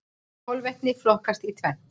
Kolvetni flokkast í tvennt.